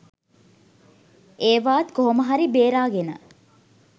ඒවාත් කොහොම හරි බේරාගෙන